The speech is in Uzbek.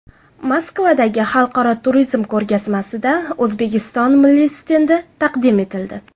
Moskvadagi xalqaro turizm ko‘rgazmasida O‘zbekiston milliy stendi taqdim etildi.